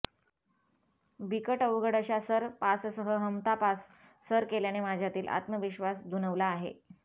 बिकट अवघड अशा सर पाससह हमता पास सर केल्याने माझ्यातील आत्मविश्वास दुणवला आहे